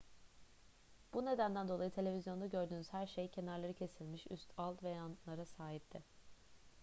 bu nedenden dolayı televizyonda gördüğünüz her şey kenarları kesilmiş üst alt ve yanlara sahipti